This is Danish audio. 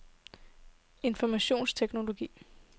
informationsteknologi